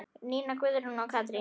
Nína Guðrún og Katrín.